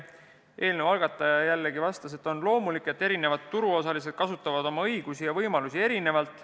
Eelnõu algataja vastas, et on loomulik, et erinevad turuosalised kasutavad oma õigusi ja võimalusi erinevalt.